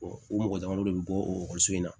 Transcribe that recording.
o mɔgɔ damadɔ de bɛ bɔ o ekɔliso in na